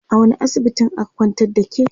a wani asibitin aka kwantar da ke?